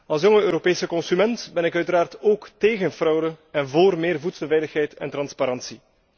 Als jonge Europese consument ben ik uiteraard ook tegen fraude en voor meer voedselveiligheid en transparantie.